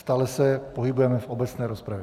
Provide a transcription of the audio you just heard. Stále se pohybujeme v obecné rozpravě.